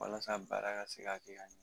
Walasa baara ka se ka kɛ k'a ɲɛ.